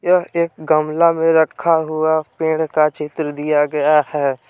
यह एक गमला में रखा हुआ पेड़ का चित्र दिया गया है।